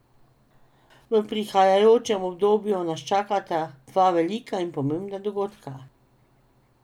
V prihajajočem obdobju nas čakata dva velika in pomembna dogodka.